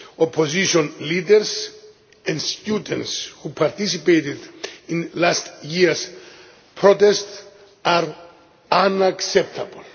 opposition leaders and students who participated in last year's protest are unacceptable.